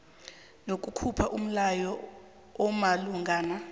nokukhupha umlayo omalungana